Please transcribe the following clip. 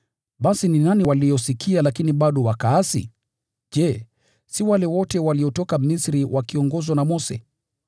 Basi ni nani waliosikia lakini bado wakaasi? Je, si wale wote waliotoka Misri wakiongozwa na Mose?